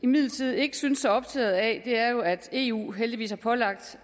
imidlertid ikke synes så optaget af er jo at eu heldigvis har pålagt